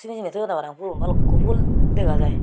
ey ibe toyode pang pulun balukko pul dega jai.